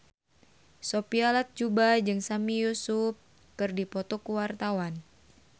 Sophia Latjuba jeung Sami Yusuf keur dipoto ku wartawan